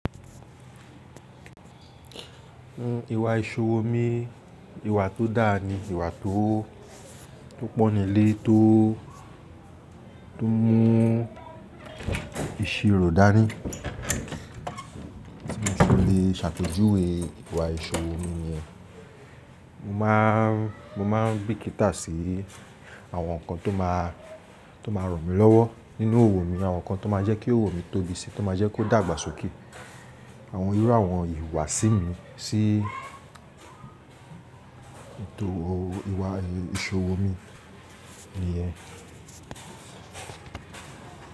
Nnu ìwà ìṣòwò mi, ìwà tó dáa ni ìwà tó, tó pọ̀ nílé, tó, tó mú ìṣirò dání. Tí mo se le ṣàpejúwè ìwà ìṣòwò mi niyẹn, mo má a, mo máa ń bíkítá sí àwọn nǹkan tó má a, tó má a ràn mí lọ́wọ́ nínú òwò mi, àwọn nǹkan tó máa jẹ́ kí òwò mi tóbi si, tó máa jẹ́ kó dàgbàsókè. Àwọn irú àwọn ìhuwàsí mi, sí ètò òwò, ìwà, èè ìṣòwò mi ni yẹn.